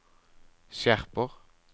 skjerper